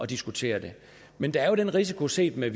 diskutere det men der er jo den risiko set med